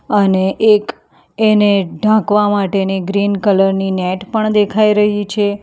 અને એક એને ઢાંકવા માટેની ગ્રીન કલર ની નેટ પણ દેખાઈ રહી છે.